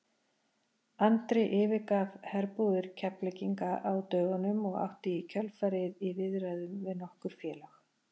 Andri yfirgaf herbúðir Keflvíkinga á dögunum og átti í kjölfarið í viðræðum við nokkur félög.